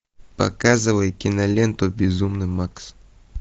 показывай киноленту безумный макс